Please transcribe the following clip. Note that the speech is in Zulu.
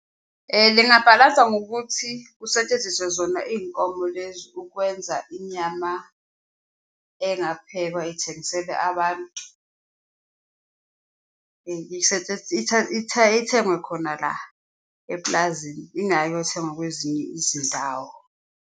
Lingabhalansa ngokuthi kusetshenziswe zona iy'nkomo lezo ukwenza inyama engaphekwa ithengiselwe abantu, ithengwe khona la epulazini, ingayi ukuyothengwa kwezinye izindawo.